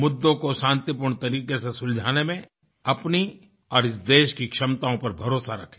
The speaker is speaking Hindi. मुद्दों को शांतिपूर्ण तरीके से सुलझाने में अपनी और इस देश की क्षमताओं पर भरोसा रखें